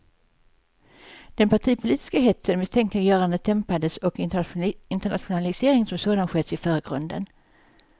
Den partipolitiska hetsen och misstänkliggörandet dämpades och internationaliseringen som sådan sköts i förgrunden.